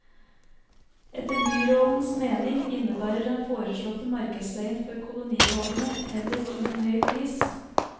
Etter byrådens mening innebærer den foreslåtte markedsleien for kolonihavene heller ingen høy pris.